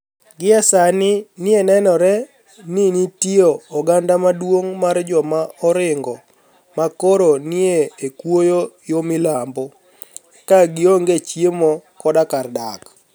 Gie sanii, ni enore nii niitie oganida maduonig ' mar joma orinigo ma koro nii e kuoyo yo milambo, ka gionige chiemo koda kar dak.